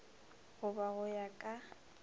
go ba go ya ka